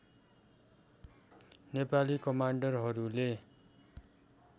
Nepali कमान्डरहरूले